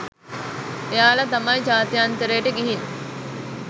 එයාලා තමයි ජාත්‍යන්තරයට ගිහින්